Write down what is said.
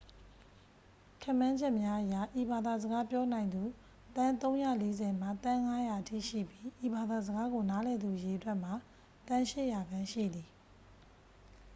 ခန့်မှန်းချက်များအရ ဤဘာသာစကားပြောနိုင်သူ သန်း 340 မှ သန်း 500 အထိရှိပြီး ဤဘာသာစကားကို နားလည်သူအရေအတွက်မှာ သန်း 800 ခန့် ရှိသည်